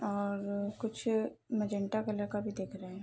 और कुछ Mirinda colour का भी दिख रहे है।